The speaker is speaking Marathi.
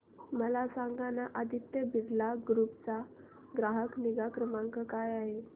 मला सांगाना आदित्य बिर्ला ग्रुप चा ग्राहक निगा क्रमांक काय आहे